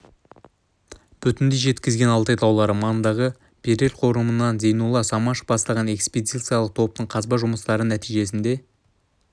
бүтіндей жеткізген алтай таулары маңындағы берел қорымынан зейнолла самашев бастаған экспедициялық топтың қазба жұмыстары нәтижесінде